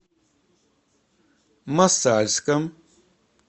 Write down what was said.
мосальском